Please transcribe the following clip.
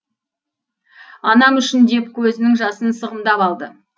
анам үшін деп көзінің жасын сығымдап алды